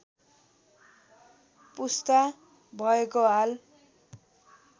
पुस्ता भएको हाल